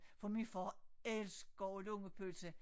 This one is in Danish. For min far elsker lungepølse